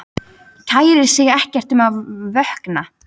Kærir sig ekkert um að vökna.